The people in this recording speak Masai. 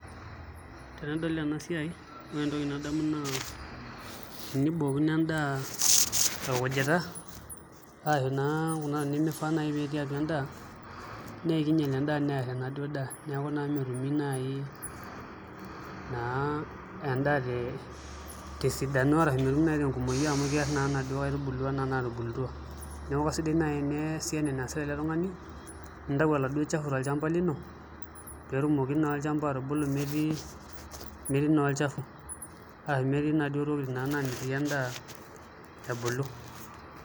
Tenadol ena siai ore entoki nadamu naa tenibookino endaa orkujit arashu kuna tokitin naa nemifaa pee etii atua endaa naa kiinyial naa enaduo daa neeku naa metumi naai endaa tesidano ashu tesapuko amu keerr naa nkaitubulu enaduo naatubulutua neeku kasidai teneesi ena naasita ele tung'ani nintau oladuo chafu tolchamba lino pee etumoki naa olchamba atubulu metii olchafu ashu metii inaduo tokitin naamitiki endaa ebulu.